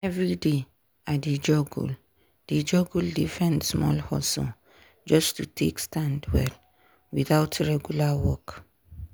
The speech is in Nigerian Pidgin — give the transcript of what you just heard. every day i dey juggle dey juggle different small hustle just to take stand well without regular work.